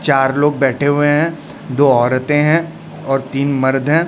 चार लोग बैठे हुए हैं दो औरतें हैं और तीन मर्द हैं।